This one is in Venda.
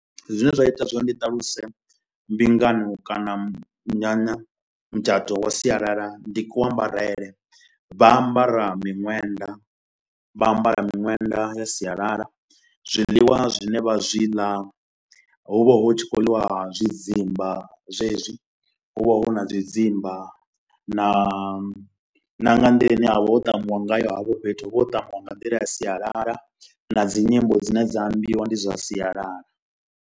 Zwine zwa ita zwa uri ndi ṱaluse mbingano kana munyanya mutshato wa sialala, ndi ku ambarele. Vha ambara miṅwenda, vha ambara miṅwenda ya sialala, zwiḽiwa zwine vha zwi ḽa hu vha hu tshi kho ḽiwa zwidzimba zwezwi hu vha hu na zwidzimba na na nga nḓila ine ha vha ho tamiwa ngayo hafho fhethu, hu vha ho tamiwa nga nḓila ya sialala na dzi nyimbo dzine dza imbiwa ndi dza sialala.